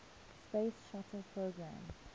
space shuttle program